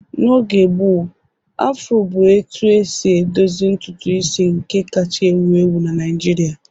N'oge gboo, Afroo bụ etu esi edozi ntutu isi nke kacha ewu ewu Naijiria